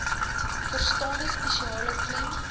verstane spesiale klem